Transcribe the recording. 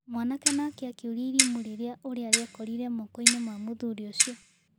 Mwanake nake akĩũrĩa irimũ rĩrĩa ũrĩa rĩekorire mokoinĩ ma mũthuri ũcio.